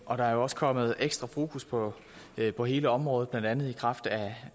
og der er også kommet ekstra fokus på på hele området blandt andet i kraft af